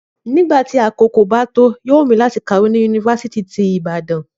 Nígbà tí àkókò bá tó, yóò wù mí láti kàwé ni yunifásítì ti Ibadan